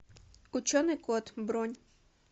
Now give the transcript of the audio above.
ученый кот бронь